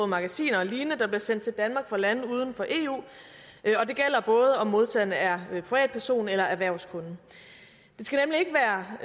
magasiner og lignende der bliver sendt til danmark fra lande uden for eu og modtageren er privatperson eller erhvervskunde